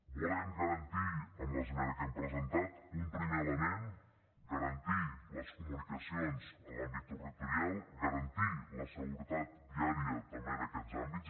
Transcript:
volem garantir amb l’esmena que hem presentat un primer element garantir les comunicacions en l’àmbit territorial garantir la seguretat viària també en aquests àmbits